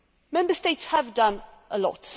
Member States have done a lot.